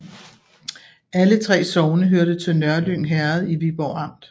Alle 3 sogne hørte til Nørlyng Herred i Viborg Amt